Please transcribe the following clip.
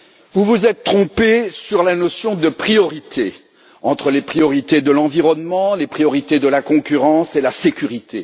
Vous vous êtes trompés sur la notion de priorité entre les priorités de l'environnement, les priorités de la concurrence et celles de la sécurité.